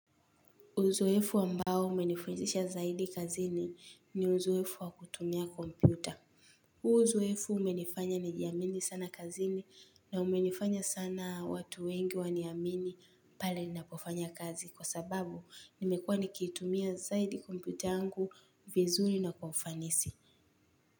Uzoefu ambao umenifundisha zaidi kazini ni uzoefu wakutumia kompyuta. Huo uzoefu umenifanya nijiamini sana kazini na umenifanya sana watu wengi waniamini pale na kufanya kazi kwa sababu nimekua nikitumia zaidi kompyuta yangu vizuri na kwa ufanisi.